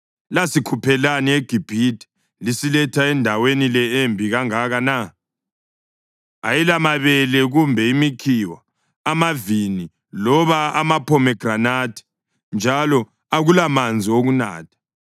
Lasikhuphelani eGibhithe lisiletha endaweni le embi kangaka na? Ayilamabele kumbe imikhiwa, amavini loba amaphomegranathi. Njalo akulamanzi okunatha!”